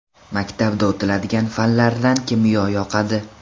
Maktabda o‘tiladigan fanlardan kimyo yoqadi.